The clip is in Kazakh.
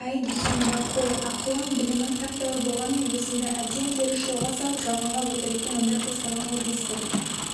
әй дүйсенбі қой ақылың білімің тәп-тәуір болғанмен өзіңді әбден теріс жолға салып жалғанға өтірікке нандырып тастаған ғой десті